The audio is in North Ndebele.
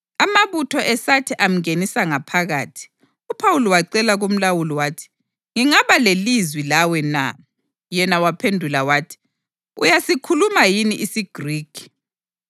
Amabutho esathi amngenisa ngaphakathi, uPhawuli wacela kumlawuli wathi, “Ngingaba lelizwi lawe na?” Yena waphendula wathi, “Uyasikhuluma yini isiGrikhi?